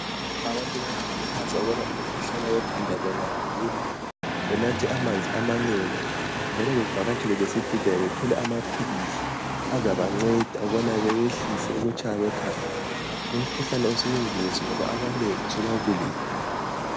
Abantu bayakhuthazwa ukubana umkhuhlane ekhanda bengawugula ,benathe amanzi amanengi njalo bevakatshele lesibhedlela bethole amaphilisi azabancede ukuba behlise ukutshaya kwekhanda , lomkhuhlane usuyingozi ngoba abanengi usubabulele